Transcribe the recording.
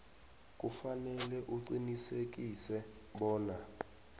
kufanele uqinisekise bona